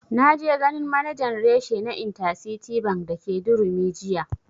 Na je ganin manajan reshe na intercity bank dake durumi jiya